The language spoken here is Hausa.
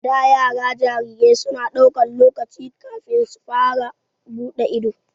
A da, yara jarirai su na daukan lokaci kafin su fara bude ido.